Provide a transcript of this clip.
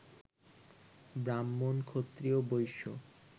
ব্রাহ্মণ, ক্ষত্রিয়, বৈশ্য